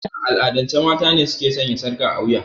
A al'adance mata ne su ke sanya sarƙa a wiya.